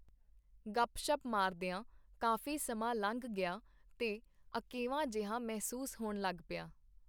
ਗੱਪ-ਸ਼ੱਪ ਮਾਰਦੀਆਂ ਕਾਫੀ ਸਮਾਂ ਲੰਘ ਗਿਆ ਤੇ ਅਕੇਵਾਂ ਜਿਹਾ ਮਹਿਸੂਸ ਹੋਣ ਲਗ ਪਿਆ.